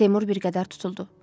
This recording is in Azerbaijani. Seymur bir qədər tutuldu.